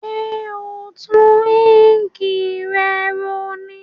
Sé o n tun ink re ro ní